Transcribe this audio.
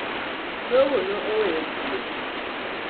Togo ne oweyo piem.